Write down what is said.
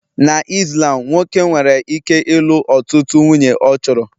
Na Islam nwoke nwere ike ịlụ ọtụtụ nwunye ọ chọrọ